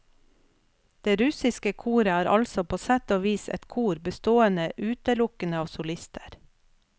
Det russiske koret er altså på sett og vis et kor bestående utelukkende av solister.